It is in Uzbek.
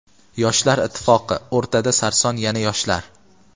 Yoshlar ittifoqi — o‘rtada sarson yana yoshlar.